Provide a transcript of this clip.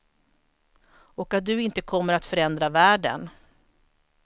Och att du inte kommer att förändra världen.